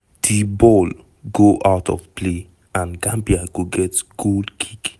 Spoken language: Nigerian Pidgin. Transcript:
di ball go out of play and gambia go get goal kick.